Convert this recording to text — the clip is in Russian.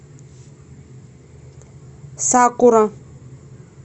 сакура